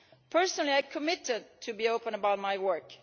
Personally, I committed to be open about my work.